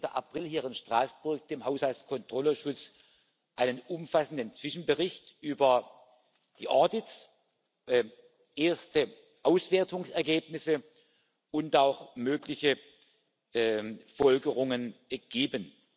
15. April, hier in Straßburg dem Haushaltskontrollausschuss einen umfassenden Zwischenbericht über die Audits, erste Auswertungsergebnisse und auch mögliche Folgerungen geben.